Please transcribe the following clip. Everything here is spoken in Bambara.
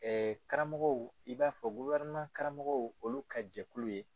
karamɔgɔw i b'a fɔ karamɔgɔw olu ka jɛkulu ye.